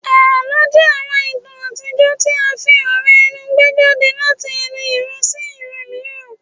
Àlọ́ jẹ́ àwọn ìtàn àtijọ́ tí à ń fi ọ̀rọ̀ ẹnu gbé jáde láti ẹnu ìran sí ìran mìíràn